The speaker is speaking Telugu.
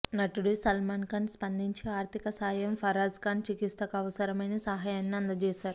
నటుడు సల్మాన్ ఖాన్ స్పందించి ఆర్థిక సాయం ఫరాజ్ ఖాన్ చికిత్సకు అవసరమైన సహాయాన్ని అందజేశారు